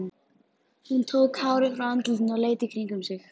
Hún tók hárið frá andlitinu og leit í kringum sig.